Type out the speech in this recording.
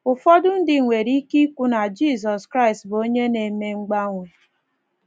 Ụfọdụ ndị nwere ike ikwu na Jizọs Kraịst bụ onye na - eme mgbanwe.